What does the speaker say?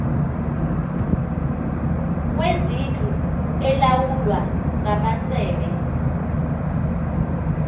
kwezindlu elawulwa ngamasebe